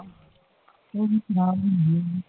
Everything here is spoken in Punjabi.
ਉਹ ਵੀ